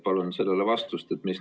Palun sellele vastust!